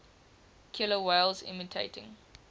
killer whales imitating